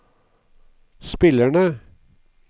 spillerne